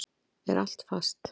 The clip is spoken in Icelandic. Er allt fast?